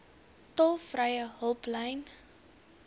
tolvrye hulplyn